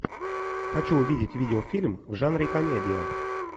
хочу увидеть видеофильм в жанре комедия